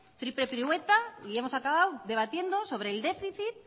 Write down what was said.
triple pirueta y hemos acabado debatiendo sobre el déficit